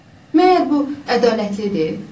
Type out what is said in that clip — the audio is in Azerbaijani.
Məyər bu ədalətlidir?